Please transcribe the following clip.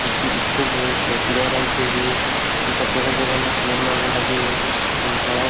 एक ठी स्कूल हे जे पीला रंग के हे एकार जगह - जगह में पेड़ मन ह लगे हे यहाँ हरा --